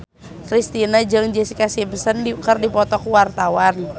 Kristina jeung Jessica Simpson keur dipoto ku wartawan